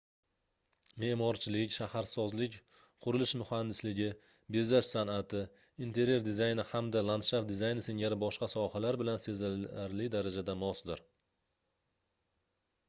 meʼmorchilik shaharsozlik qurilish muhandisligi bezash sanʼati interyer dizayni hamda landshaft dizayni singari boshqa sohalar bilan sezilarli darajada mosdir